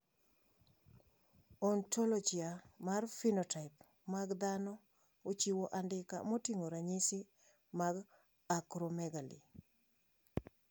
Ontologia mar phenotype mag dhano ochiwo andika moting`o ranyisi mag Acromegaly.